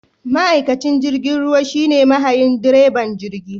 Ma'aikacin jirgin ruwa shine mahayin / direban jirgi